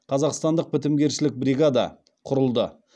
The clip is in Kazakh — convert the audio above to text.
қазақстандық бітімгершілік бригада құрылды